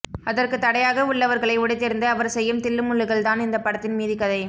அதற்கு தடையாக உள்ளவர்களை உடைத்தெறிந்து அவர் செய்யும் தில்லுமுல்லுகள் தான் இந்த படத்தின் மீதிக்கதை